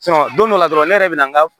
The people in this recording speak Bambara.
don dɔ la dɔrɔn ne yɛrɛ bɛ na n ka